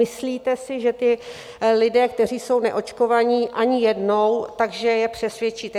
Myslíte si, že ti lidé, kteří jsou neočkovaní ani jednou, že je přesvědčíte?